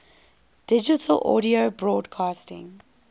digital audio broadcasting